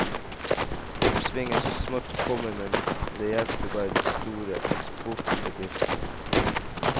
Oppsvinget er så smått kommet, men det hjelper bare de store eksportbedriftene.